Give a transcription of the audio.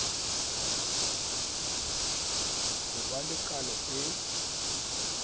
ho ba le kano e